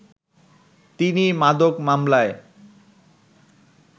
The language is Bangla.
তিনি মাদক মামলায়